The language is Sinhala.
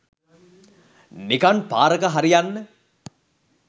නිකන් පාරක හරි යන්න